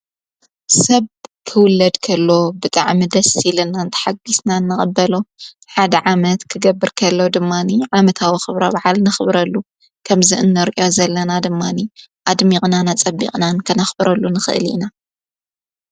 ሰብ ክውለድ ከሎ ብጥዕ ምደስ ይለናንቲ ሓጊስና እነቐበሎ ሓድ ዓመት ክገብር ከሎ ድማኒ ዓመታዊ ኽብሮ ብዓል ንኽብረሉ ከምዝእነርእዮ ዘለና ድማኒ ኣድሚቕናና ጸቢቕናን ከነኽብረሉ ንኽእል ኢና።